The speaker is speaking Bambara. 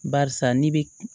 Barisa n'i bɛ